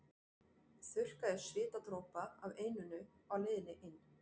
Þurrkaði svitadropa af enninu á leiðinni inn.